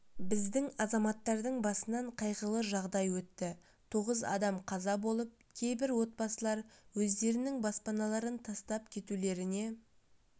біздің азаматтардың басынан қайғылы жағдай өтті тоғыз адам қаза болып кейбір отбасылар өздерінің баспаналарын тастап кетулеріне